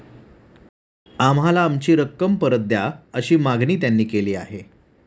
आम्हाला आमची रक्कम परत द्या, अशी मागणी त्यांनी केली आहे.